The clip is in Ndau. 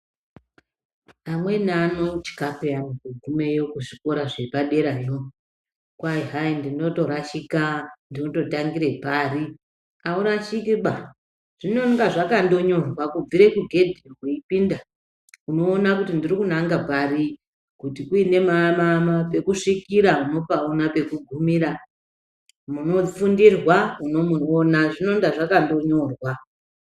Amweni anotya peyani kugumeyoo kuzvikora zvepaderayoo kwai hai ndinoto rashika ndotangira parii aurashiki ba zvinenge zvakandonyorwa kubvire kugedhi weipinda unoona kuti ndiri kunange parii kuti uine pekusvikira unopaona pukugumira munofundirwa unomuona zvinonda zvakandonyorwa